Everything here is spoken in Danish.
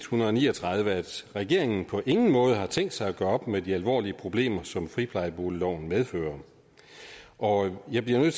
hundrede og ni og tredive at regeringen på ingen måde har tænkt sig at gøre op med de alvorlige problemer som friplejeboligloven medfører og jeg bliver nødt